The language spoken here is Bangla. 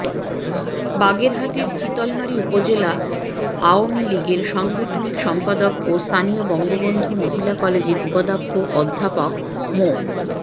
বাগেরহাটের চিতলমারী উপজেলা আওয়ামী লীগের সাংগঠনিক সম্পাদক ও স্থানীয় বঙ্গবন্ধু মহিলা কলেজের উপাধ্যক্ষ অধ্যাপক মো